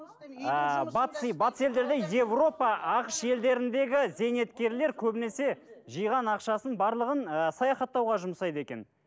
ыыы батыс батыс елдерде европа ақш елдеріндегі зейнеткерлер көбінесе жиған ақшасын барлығын ы саяхаттауға жұмсайды екен